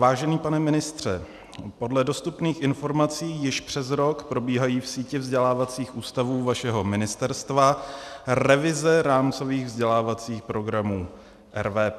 Vážený pane ministře, podle dostupných informací již přes rok probíhají v síti vzdělávacích ústavů vašeho ministerstva revize rámcových vzdělávacích programů, RVP.